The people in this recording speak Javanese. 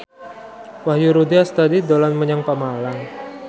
Wahyu Rudi Astadi dolan menyang Pemalang